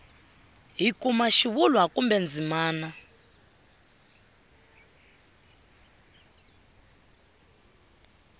hi kuma xivulwa kumbe ndzimana